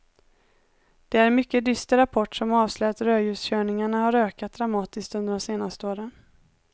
Det är en mycket dyster rapport som avslöjar att rödljuskörningarna har ökat dramatiskt under de senaste åren.